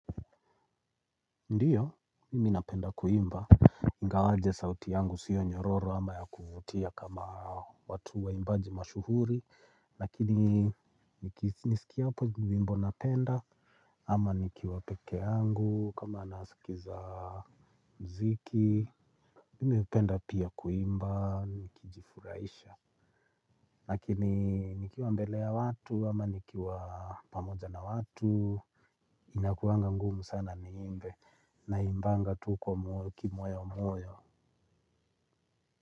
Ndiyo, mimi napenda kuimba, ingawaje sauti yangu sio nyororo ama ya kuvutia kama watu waimbaji mashuhuri. Lakini, nikisikia ni nyimbo napenda ama nikiwa pekee yangu kama nasikiza mziki mimi hupenda pia kuimba, nikijifurahisha. Lakini, nikiwa mbele ya watu ama nikiwa pamoja na watu inakuanga ngumu sana niimbe naimbanga tu kwa moyo kimoyomoyo.